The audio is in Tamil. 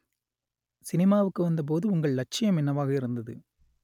சினிமாவுக்கு வந்த போது உங்கள் லட்சியம் என்னவாக இருந்தது